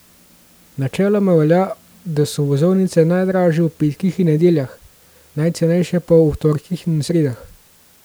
Načeloma velja, da so vozovnice najdražje ob petkih in nedeljah, najcenejše pa ob torkih in sredah.